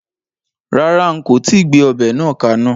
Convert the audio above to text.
Rárá, n kò tíì gbé ọbẹ̀ náà ka iná